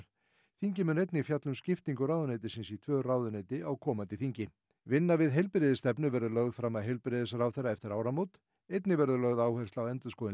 þingið mun einnig fjalla um skiptingu ráðuneytisins í tvö ráðuneyti á komandi þingi vinna við heilbrigðisstefnu verður lögð fram af heilbrigðisráðherra eftir áramót einnig verður lögð áhersla á endurskoðun